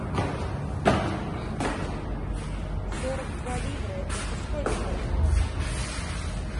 сорок два ливра это сколько бальбоа